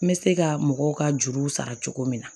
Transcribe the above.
N bɛ se ka mɔgɔw ka juruw sara cogo min na